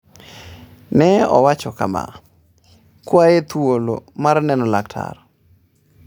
Ne owacho kama: “Kwaye thuolo mar neno laktar.”